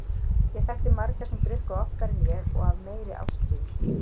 Ég þekkti marga sem drukku oftar en ég og af meiri ástríðu.